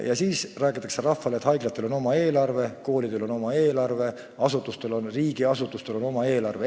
Ja siis räägitakse rahvale, et haiglatel on oma eelarve, koolidel on oma eelarve ja riigiasutustel on oma eelarve.